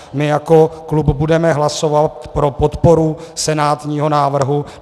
My jako klub budeme hlasovat pro podporu senátního návrhu.